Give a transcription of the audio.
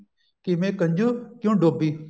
ਕਿਵੇਂ ਕੰਜੂ ਕਿਉਂ ਡੋਬੀ